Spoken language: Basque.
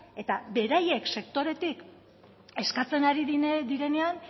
eta beraiek sektoretik eskatzen direnean